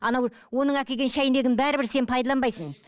анау оның әкелген шәйнегін бәрібір сен пайдаланбайсың